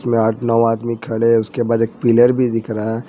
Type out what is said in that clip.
यहां आठ नौ आदमी खड़े हैं उसके बाद एक पिलर भी दिख रहा है ।